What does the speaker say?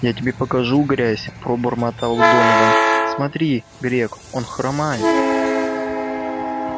я тебе покажу грязь пробормотал донован смотри грег он хромает